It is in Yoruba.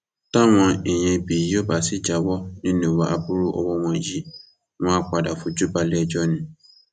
táwọn èèyàn ibí yìí ò bá sì jáwọ nínú ìwà aburú ọwọ wọn yìí wọn àá padà fojú balẹẹjọ ni